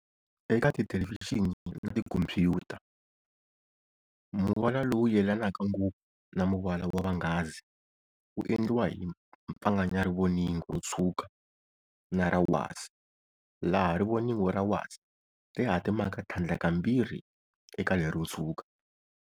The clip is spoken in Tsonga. Eka tithelevhixini na tikhompuyuta, muvala lowu yelanaka ngopfu na muvala wa vhangazi wu endliwa hi pfanganya rivoningo ro tshwuka na ra wasi, laha rivoningo ra wasi ri hatimaka thlandla ka mbirhi eka lero tshwuka.